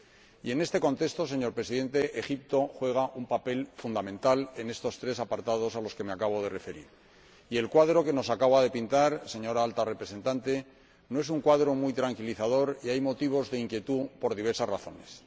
Y, señor Presidente, Egipto desempeña un papel fundamental en estas tres situaciones a las que me acabo de referir, y el cuadro que nos acaba de pintar, señora Alta Representante, no es un cuadro muy tranquilizador y hay motivos de inquietud por diversas razones.